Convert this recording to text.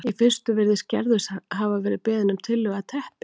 Í fyrstu virðist Gerður hafa verið beðin um tillögu að teppi